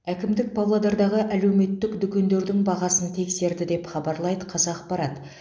әкімдік павлодардағы әлеуметтік дүкендердің бағасын тексерді деп хабарлайды қазақпарат